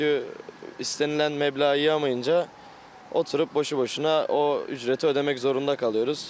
Çünki istənilən məbləği yığmayınca oturub boşu-boşuna o ücreti ödəmək zorunda qalırıq.